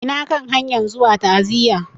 Ina kan hanyan zuwa ta'aziya.